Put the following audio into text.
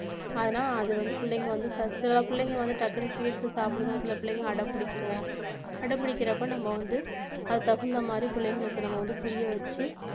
ஆனா அது வந்து பிள்ளைங்க வந்து சில பிள்ளைங்க வந்து டக்குன்னு கேட்டுட்டு சாப்பிடுங்க சில பிள்ளைங்க அடம் பிடிக்குங்க அடம் பிடிக்கறப்ப நம்ம வந்து அதுக்கு தகுந்த மாதிரி பிள்ளைங்களுக்கு நம்ம வந்து புரியவெச்சி